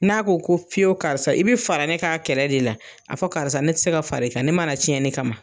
N'a ko ko fiyewu karisa i be fara ne k'a kɛlɛ de la, a fɔ karisa ne ti se ka far'i kan, ne ma na tiɲɛni kama.